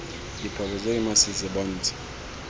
diphoso tse di masisi bontsha